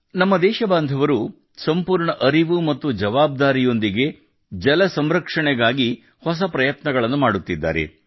ನಮ್ಮ ದೇಶಬಾಂಧವರು ಸಂಪೂರ್ಣ ಅರಿವು ಮತ್ತು ಜವಾಬ್ದಾರಿಯೊಂದಿಗೆ ಜಲ ಸಂರಕ್ಷಣೆಗಾಗಿ ಹೊಸ ಪ್ರಯತ್ನಗಳನ್ನು ಮಾಡುತ್ತಿದ್ದಾರೆ